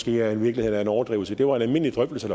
virkeligheden er en overdrivelse det var en almindelig drøftelse